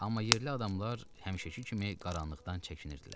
Amma yerli adamlar həmişəki kimi qaranlıqdan çəkinirdilər.